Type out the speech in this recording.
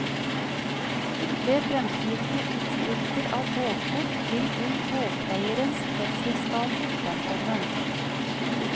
Ved fremtidige utskrifter av båtkort vil kun båteierens fødselsdato fremkomme.